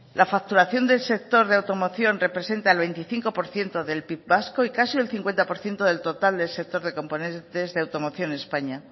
la facturación del sector de automoción representa el veinticinco por ciento del pib vasco y casi un cincuenta por ciento del total del sector de componentes de automoción en españa